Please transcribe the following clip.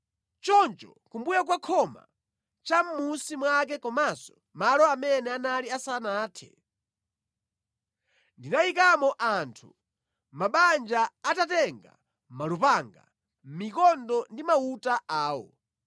Choncho kumbuyo kwa khoma, cha mʼmunsi mwake komanso malo amene anali asanathe ndinayikamo anthu mʼmabanja atatenga malupanga, mikondo ndi mauta awo.